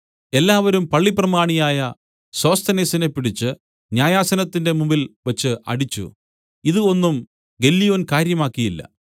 എല്ലാവരും പള്ളിപ്രമാണിയായ സോസ്ഥനേസിനെ പിടിച്ച് ന്യായാസനത്തിന്റെ മുമ്പിൽവച്ച് അടിച്ചു ഇതു ഒന്നും ഗല്ലിയോൻ കാര്യമാക്കിയില്ല